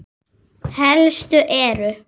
Helstu eru